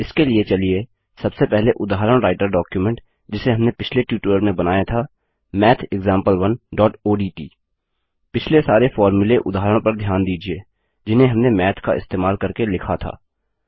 इसके लिए चलिए सबसे पहले उदाहरण राईटर डॉक्युमेंट जिसे हमने पिछले ट्यूटोरियल में बनाया था mathexample1ओडीटी पिछले सारे फ़ॉर्मूले उदाहरण पर ध्यान दीजिये जिन्हें हमने माथ का इस्तेमाल करके लिखा था